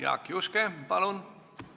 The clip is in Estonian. Jaak Juske, palun!